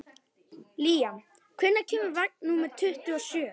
Líam, hvenær kemur vagn númer tuttugu og sjö?